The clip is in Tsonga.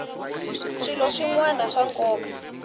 swilo swin wana swa nkoka